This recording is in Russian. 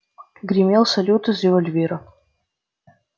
гремел салют из револьвера